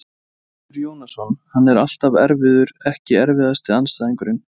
Vilmundur Jónasson, hann er alltaf erfiður Ekki erfiðasti andstæðingur?